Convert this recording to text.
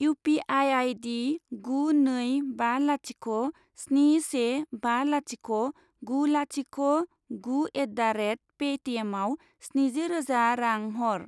U P I I D गु नै बा लाथिख' स्नि से बा लाथिख' गु लाथिख' गु एट दा रेट पे टि एमआव स्निजि रोजा रां हर।